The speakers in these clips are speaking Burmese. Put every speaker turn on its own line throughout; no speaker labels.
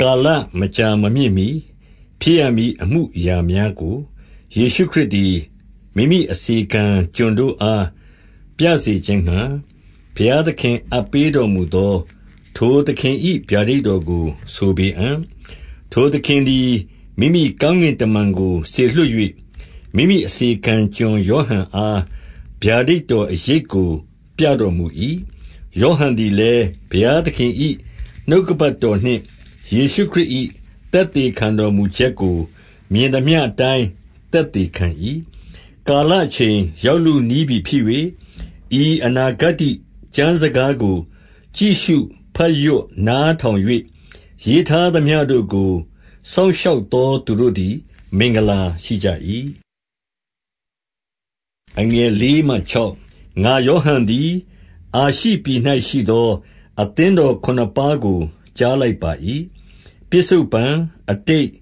ကာလမကြာမမြင့်မှီဖြစ်ရမည် အမှုအရာများကို ယေရှုခရစ်သည် မိမိအစေခံကျွန်တို့အား ပြစေခြင်းငှါ၊ ဘုရားသခင်အပ်ပေးတော်မူသော ထိုသခင်၏ ဗျာဒိတ်တော်ကို ဆိုပေအံ့။ ထိုသခင်သည် မိမိကောင်း ကင်တမန်ကို စေလွှတ်၍၊ မိမိအစေခံကျွန်ယောဟန်အား ဗျာဒိတ်တော် အရိပ်ကို ပြတော်မူ၏။ 2 ယောဟန်သည်လည်း ဘုရားသခင်၏ နှုတ်ကပတ်တော်နှင့် ယေရှုခရစ်၏ သက်သေခံတော်မူချက်ကို မြင်သမျှအတိုင်း သက်သေခံ၏။ 3 ကာလအချိန်ရောက်လုနီးပြီဖြစ်၍၊ ဤအနာဂတ္တိကျမ်းစကားကိုကြည့်ရှု ဘတ်ရွတ်နားထောင်၍၊ ရေးထားသမျှတို့ကို စောင့်ရှောက်သော သူတို့သည် မင်္ဂလာရှိကြ၏။ 4 ငါယောဟန်သည် အာရှိပြည်၌ရှိသော အသင်းတော်ခုနှစ်ပါးကို ကြားလိုက်ပါ၏။ ပစ္စုပ္ပန်၊ အတိတ်၊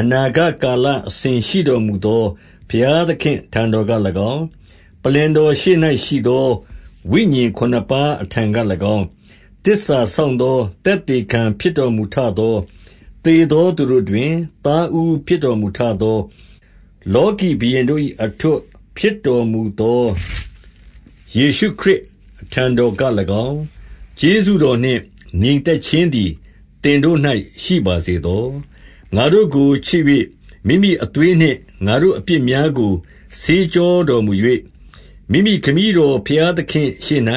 အနာဂတ်ကာလအစဉ် ရှိတော်မူသော ဘုရားသခင်အထံတော်က၎င်း၊ ပလ္လင်တော်ရှေ့၌ရှိသော ဝိညာဉ် ခုနှစ်ပါးအထံက၎င်း၊ 5 သစ္စာစောင့်သော သက်သေခံဖြစ်တော်မူထသော၊ သေသောသူတို့တွင်သားဦး ဖြစ်တော်မူထသော၊ လောကီဘုရင်တို့၏ အထွဋ်ဖြစ်တော်မူသော ယေရှုခရစ်အထံတော်က၎င်း၊ ကျေးဇူးတော်နှင့် ငြိမ် သက်ခြင်းသည်သင်တို့၌ရှိပါစေသော။ ငါတို့ကိုချစ်၍ မိမိအသွေးနှင့် ငါတို့အပြစ်များကို ဆေးကြောတော်မူ၍၊ 6 မိမိခမည်းတော်ဘုရားသခင့်ရှေ့၌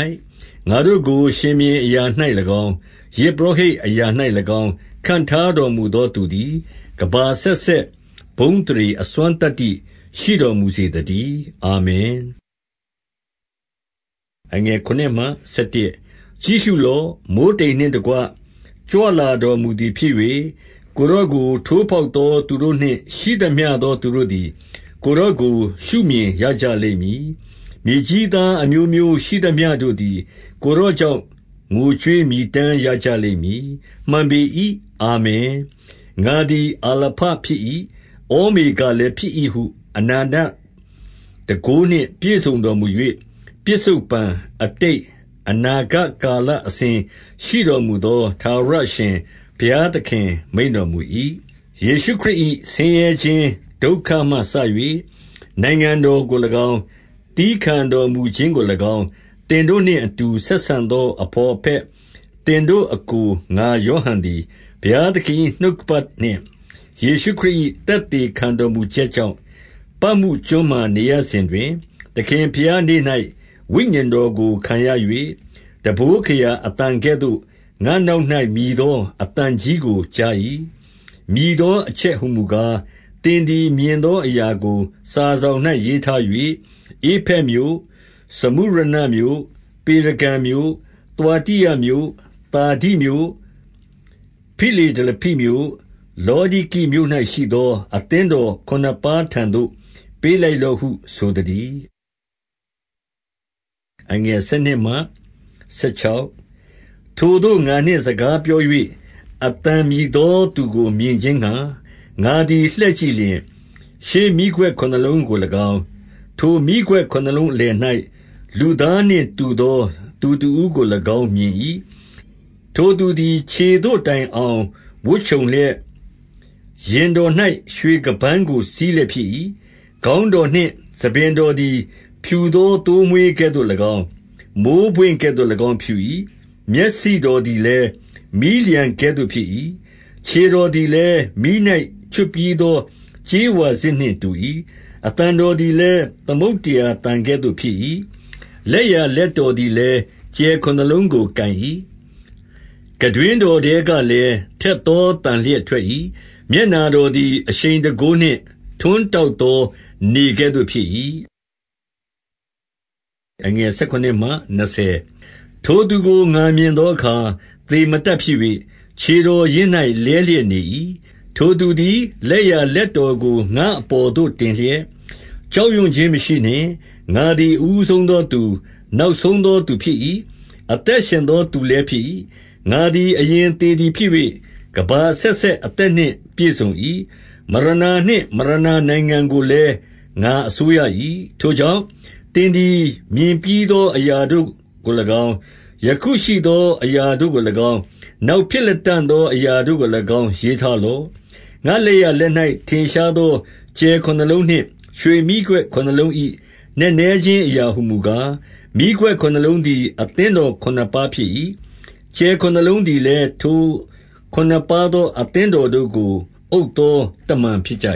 ငါတို့ကို ရှင်ဘုရင်အရာ၌၎င်း၊ ယဇ်ပုရောဟိတ်အရာ၌၎င်း ခန့် ထားတော်မူသောသူသည်၊ ကမ္ဘာအဆက်ဆက် ဘုန်းအသရေ၊ အစွမ်းသတ္တိရှိတော်မူစေသတည်း။ အာမင်။ 7 ကြည့်ရှုလော့။ မိုဃ်းတိမ်နှင့်တကွ ကြွလာတော်မူသည်ဖြစ်၍၊ ကိုယ်တော်ကို ထိုးဖောက်သော သူတို့နှင့် ရှိသမျှသောသူတို့သည် ကိုယ်တော်ကို ရှုမြင်ရ ကြလိမ့်မည်။ မြေကြီးသားအမျိုးမျိုးရှိသမျှတို့သည် ကိုယ်တော်ကြောင့် ငိုကြွေးမည်တမ်းရကြလိမ့်မည်။ မှန်ပေ၏။ အာမင်။ 8 ငါသည် အာလဖဖြစ်၏။ ဩမေဃလည်း ဖြစ်၏ ဟု အနန္တတန်ခိုးနှင့်ပြည့်စုံတော်မူ၍ ၊ ပစ္စုပ္ပန် ၊ အတိတ်၊ အနာဂတ်ကာလအစဉ် ရှိတော်မူသော ထာဝရ အရှင် ဘုရားသခင် မိန့်တော်မူ၏။ 9 ယေရှုခရစ်၏ ဆင်းရဲခြင်းဒုက္ခမှစ၍ နိုင်ငံတော်ကို၎င်း၊ သည်းခံတော်မူခြင်းကို၎င်း၊ သင်တို့နှင့်အတူ ဆက်ဆံသော အဘော်အဘက၊ သင်တို့အစ်ကို ငါ ယောဟန်သည်၊ ဘုရားသခင်၏ နှုတ်ကပတ်နှင့် ယေရှု ခရစ်၏ သက်သေခံတော်မူချက်ကြောင့်၊ ပတ်မုကျွန်းမှာ နေရစဉ်တွင် ၊ 10 သခင်ဘုရားနေ့၌ ဝိညာဉ်တော်ကိုခံရ၍ ၊ တံပိုး ခရာ အသံကဲ့သို့ငါ့နောက်၌ မြည်သော အသံကြီးကို ကြား၏။ 11 မြည်သောအချက်ဟူမူကား၊ သင်သည်မြင်သော အရာကို စာစောင်၌ ရေးထား၍၊ ဧဖက်မြို့၊ စမုရနမြို့၊ ပေရဂံမြို့၊ သွာတိရမြို့၊ သာဒိမြို့၊ ဖိလဒေလဖိမြို့၊ လောဒိကိမြို့၌ရှိသော အသင်းတော်ခုနှစ်ပါးထံသို့ ပေးလိုက် လော့ဟုဆိုသတည်း။ 12 ထိုသို့ ငါနှင့်စကားပြော၍ အသံမြည်သော သူကိုမြင်ခြင်းငှါ ငါသည်လှည့်ကြည့်လျှင် ၊ ရွှေမီးခွက်ခုနှစ် လုံးကို၎င်း ၊ 13 ထိုမီးခွက်ခုနှစ်လုံးအလယ်၌ လူသားတော်နှင့် တူသောသူတဦး ကို၎င်း မြင်၏။ ထိုသူသည်ခြေသို့ တိုင်အောင်ဝတ်ခြုံလျက်၊ ရင်တော်၌ ရွှေခါးပန်းကို စည်းလျက်ဖြစ်၏။ 14 ခေါင်းတော်နှင့်ဆံပင်တော်သည် ဖြူသော သိုးမွှေးကဲ့သို့၎င်း ၊ မိုဃ်းပွင့်ကဲ့သို့၎င်းဖြူ၏။ မျက်စိတော် သည်လည်း မီးလျှံကဲ့သို့ ဖြစ်၏။ 15 ခြေတော်သည်လည်း မီး၌ချွတ်ပြီးသော ကြေးဝါစစ်နှင့်တူ၏။ အသံတော်သည်လည်း သမုဒ္ဒရာသံကဲ့သို့ ဖြစ်၏။ 16 လက်ျာလက်တော်သည်လည်း ကြယ်ခုနှစ်လုံးကို ကိုင်၏။ ခံတွင်းတော်ထဲကလည်းထက်သော သန်လျက် ထွက်၏။ မျက်နှာတော်သည်အရှိန်တန်ခိုးနှင့် ထွန်း တောက်သောနေကဲ့သို့ဖြစ်၏။ 17 ထိုသူကိုငါမြင်သောအခါ၊ သေမတတ်ဖြစ်၍ ခြေတော်ရင်း၌ လဲလျက်နေ၏။ ထိုသူသည်လက်ျာ လက်ထောက်ကို ငါ့အပေါ်သို့ တင်လျက်၊ ကြောက်ရွံ့ ခြင်းမရှိနှင့်။ ငါသည်အဦးဆုံးသောသူ၊ နောက်ဆုံးသော သူဖြစ်၏။ 18 အသက်ရှင်သောသူလည်းဖြစ်၏။ ငါသည် အရင်သေသည် ဖြစ်၍၊ ကမ္ဘာအဆက်ဆက်အသက်နှင့် ပြည့်စုံ၏။ မရဏာနှင့် မရဏာနိုင်ငံကိုလည်းငါအစိုးရ၏။ 19 ထိုကြောင့်၊ သင်သည်မြင်ပြီးသော အရာတို့ကို၎င်း၊ ယခုရှိသော အရာတို့ကို၎င်း၊ နောင်ဖြစ်လတံ့သော အရာတို့ကို၎င်း ရေးထားလော့။ 20 ငါ့လက်ျာလက်၌ ထင်ရှားသောကြယ်ခုနှစ်လုံးနှင့်ရွှေမီးခွက် ခုနှစ်လုံး၏ နက်နဲခြင်းအရာဟူမူကား၊ မီးခွက်ခုနှစ်လုံးသည်အသင်းတော်ခုနှစ်ပါးဖြစ်၏။ ကြယ်ခုနှစ်လုံးသည်လည်းထိုခုနှစ်ပါးသော အသင်းတော် တို့ကို အုပ်သောတမန်ဖြစ်ကြ